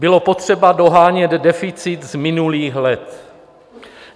Bylo potřeba dohánět deficit z minulých let.